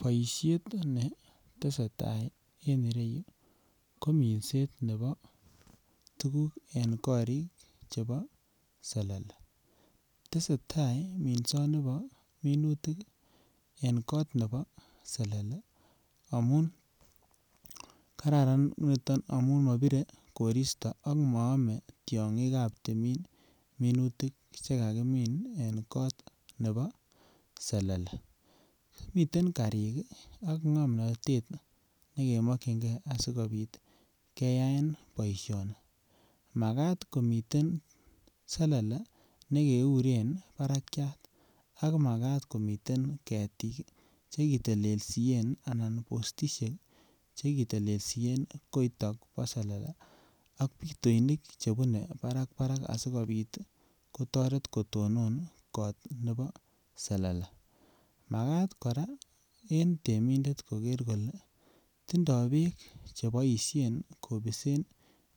Boishet netesetai en irou ko minset nebo tukuk en korik chebo selele, tesetai minsoni bo minutik en kot nebo selele amun kararan niton amun mobire koristo ak moome tyonkik ab timin minutik chekakimin en kot nebo selele. Miten karik kii ak ngomnotet ne kenokingee sikopit keyaen boishoni makat komiten selele nekeuren barakyat ak makat komiten ketik chekitelelsien anan postishek chekitelelsien kiiton bo selele ab pitoinik chebune barabarak asikopit kotoret kotonon kot nebo selele. Makat Koraa en temindet koker kole tindo beek cheboishen kobisen